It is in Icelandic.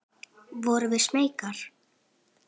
Vorum við smeykar?